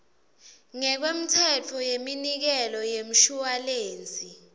ngekwemtsetfo weminikelo yemshuwalensi